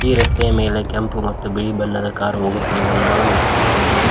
ಈ ರಸ್ತೆಯ ಮೇಲೆ ಕೆಂಪು ಮತ್ತು ಬಿಳಿ ಬಣ್ಣದ ಕಾರು ಹೋಗುತ್ತಿರುವುದನ್ನು ನಾವು ವೀಕ್ಷಿಸಬಹುದು.